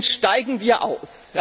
Deswegen steigen wir aus.